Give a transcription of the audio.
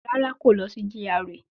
Rárá, kò lọ sí GRA